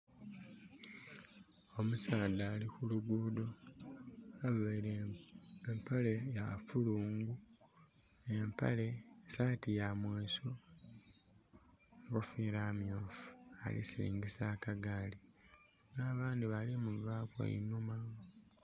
Omusaadha ali kulugudho aveire empale ya fulungu, empale, saati ya mweso enkofira myufu alisilingisa akagaali n'abandhi bali kumuvaku einhuma.